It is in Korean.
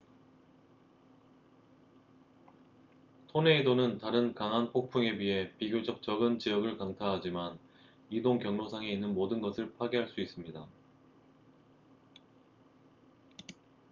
토네이도는 다른 강한 폭풍에 비해 비교적 적은 지역을 강타하지만 이동 경로상에 있는 모든 것을 파괴할 수 있습니다